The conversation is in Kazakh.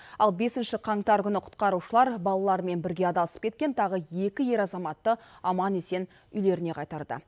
ал бесінші қаңтар күні құтқарушылар балаларымен бірге адасып кеткен тағы екі ер азаматты аман есен үйлеріне қайтарды